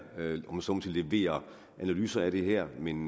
om man så må sige leverer analyser af det her men